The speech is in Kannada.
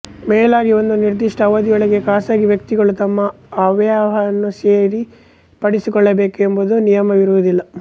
ಮೇಲಾಗಿ ಒಂದು ನಿರ್ದಿಷ್ಟ ಅವಧಿಯೊಳಗೆ ಖಾಸಗಿ ವ್ಯಕ್ತಿಗಳು ತಮ್ಮ ಅಯವ್ಯಯವನ್ನು ಸರಿಪಡಿಸಿಕೊಳ್ಳಬೇಕೆಂಬ ನಿಯಮವಿರುವುದಿಲ್ಲ